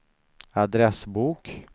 adressbok